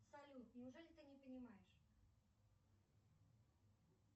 салют неужели ты не понимаешь